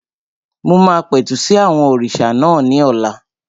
Mo máa pẹ̀tù sí àwọn òrìṣà náà ní ọ̀la